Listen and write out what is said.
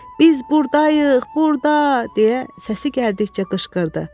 Biz burdayıq, burda, deyə səsi gəldikcə qışqırdı.